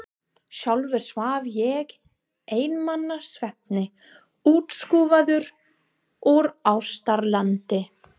Sjálfur svaf ég einmana svefni, útskúfaður úr ástarlandi.